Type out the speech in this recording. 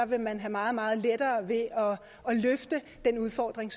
vil man have meget meget lettere ved at løfte den udfordring